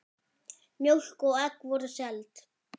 Mjólk og egg voru seld.